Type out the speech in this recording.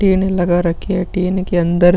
tin लगा रखे है टिन के अंदर--